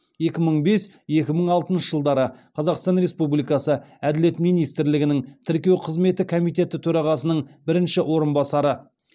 екі мың бес екі мың алтыншы жылдары қазақстан республикасы әділет министрлігінің тіркеу қызметі комитеті төрағасының бірінші орынбасары